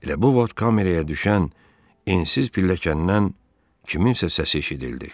Elə bu vaxt kameraya düşən ensiz pilləkəndən kimsənin səsi eşidildi.